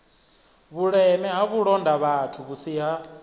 vhuleme ha vhulondavhathu vhusi ha